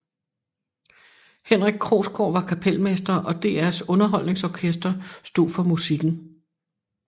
Henrik Krogsgaard var kapelmester og DRs underholdningsorkester stod for musikken